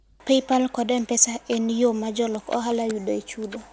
Paypal kod M-Pesa en yo ma jolok ohala yudoe chudo.